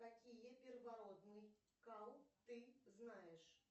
какие первородный кал ты знаешь